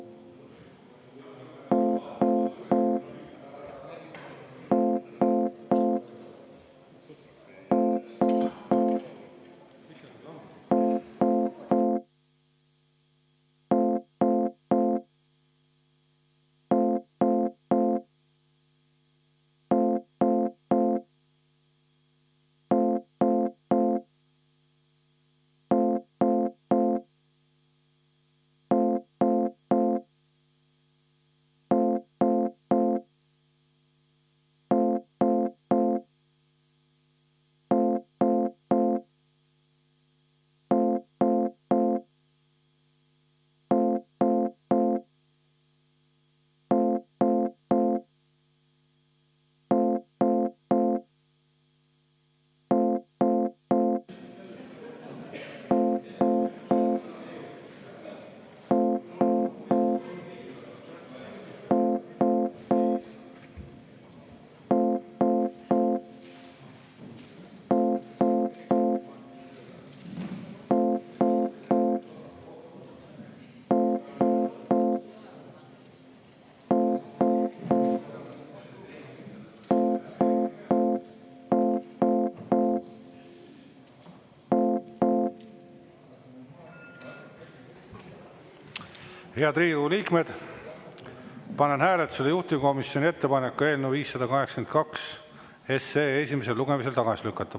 Head Riigikogu liikmed, panen hääletusele juhtivkomisjoni ettepaneku eelnõu 582 esimesel lugemisel tagasi lükata.